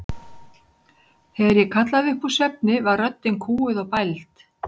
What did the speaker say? Þegar ég kallaði upp úr svefni var röddin kúguð og bæld.